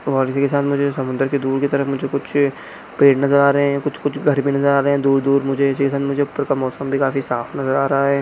और इसी के साथ मुझे समुद्र के दूर की तरफ कुछ पेड़ नजर आ रहे हैं कुछ-कुछ भी घर भी नजर आ रहे है दूर-दूर मुझे ऊपर का मौसम भी काफी दिन साफ नजर आ रहा है।